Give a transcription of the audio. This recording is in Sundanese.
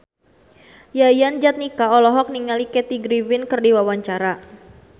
Yayan Jatnika olohok ningali Kathy Griffin keur diwawancara